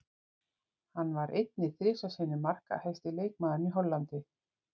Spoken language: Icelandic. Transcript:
Hann var einnig þrisvar sinnum markahæsti leikmaðurinn í Hollandi.